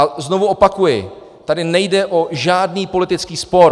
A znovu opakuji, tady nejde o žádný politický spor.